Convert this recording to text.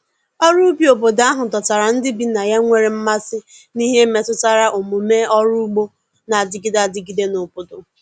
ọrụ ubi obodo ahụ dọtara ndi bi na ya nwere mmasi n'ihe metụtara omume ọrụ ụgbo n'adigide adigide n'obodo